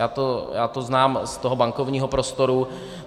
Já to znám z toho bankovního prostoru.